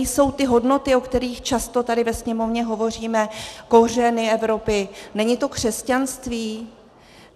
Nejsou ty hodnoty, o kterých často tady ve Sněmovně hovoříme, kořeny Evropy, není to křesťanství?